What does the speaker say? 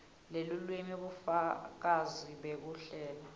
lelulwimi bufakazi bekuhlela